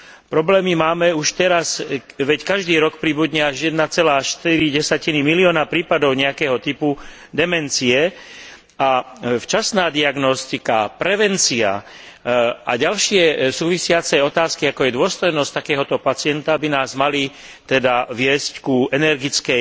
Problémy máme už teraz, veď každý rok pribudne až 1,4 milióna prípadov nejakého typu demencie a včasná diagnostika, prevencia a ďalšie súvisiace otázky, ako je dôstojnosť takého pacienta, by nás mali teda viesť k energickej